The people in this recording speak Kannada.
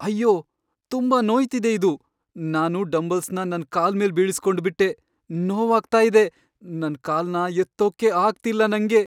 ಅಯ್ಯೋ! ತುಂಬಾ ನೋಯ್ತಿದೆ ಇದು. ನಾನು ಡಂಬಲ್ಸ್ನ ನನ್ ಕಾಲ್ಮೇಲ್ ಬೀಳಿಸ್ಕೊಂಡ್ಬಿಟ್ಟೆ.. ನೋವಾಗ್ತಾ ಇದೆ. ನನ್ ಕಾಲ್ನ ಎತ್ತೋಕೇ ಆಗ್ತಿಲ್ಲ ನಂಗೆ.